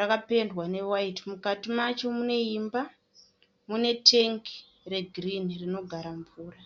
rakapendwa newaiti. Mukati macho mune imba, mune tengi regirini rinogara mvura.